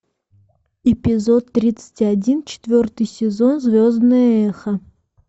эпизод тридцать один четвертый сезон звездное эхо